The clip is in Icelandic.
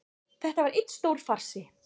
Þetta var einn stór farsi